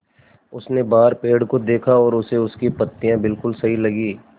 उसने बाहर पेड़ को देखा और उसे उसकी पत्तियाँ बिलकुल सही लगीं